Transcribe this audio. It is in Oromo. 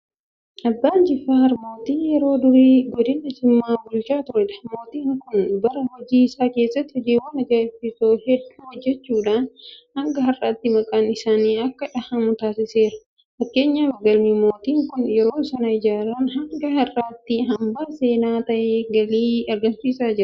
Abbaan Jifaar mootii yeroo durii godina Jimmaa bulchaa turedha. Mootiin kun bara hojii isaa keessatti hojiiwwan ajaa'ibsiisoo hedduu hojjechuudhaan hanga har'aatti maqaan isaanii akka dhahamu taasiseera. Fakkeenyaaf galmi mootiin kun yeroo sana ijaaran hanga har'aatti hanbaa seenaa ta'ee galii argamsiisaa jira.